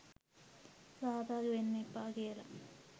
සහභාගි වෙන්න එපා කියලා